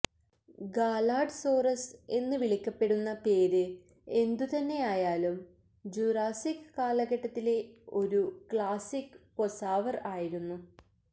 ഗാലാഡ്സോറസ് എന്ന് വിളിക്കപ്പെടുന്ന പേര് എന്തുതന്നെയായാലും ജുറാസിക് കാലഘട്ടത്തിലെ ഒരു ക്ലാസിക് പ്പൊസാവർ ആയിരുന്നു